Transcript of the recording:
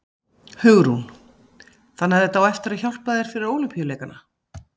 Hugrún: Þannig að þetta á eftir að hjálpa þér fyrir Ólympíuleikana?